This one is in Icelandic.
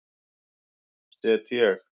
set ég